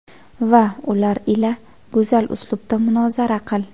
Va ular ila go‘zal uslubda munozara qil.